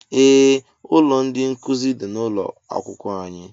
Ee ụlọ ndị nkụzi dị n'ụlọ akwụkwọ anyị